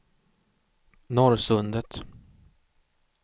Norrsundet